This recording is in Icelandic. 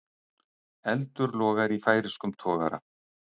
Eldur logar í færeyskum togara